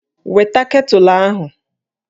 Weta ketụlụ ahụ!